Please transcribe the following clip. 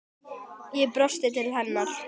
Ég brosti til hennar.